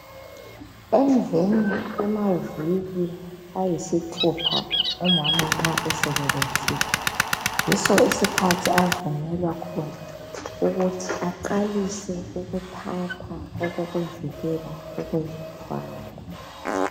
Emveni kwamaviki ayisithupha umama nxa esebelethile ,yiso isikhathi avunyelwa khona ukuthi aqalise ukuthatha okokuvikela ukuzithwala.